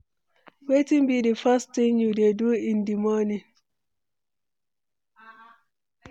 Wetin be di first thing you dey do in di morning?